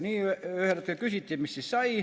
Ühel hetkel küsiti, et mis siis sai.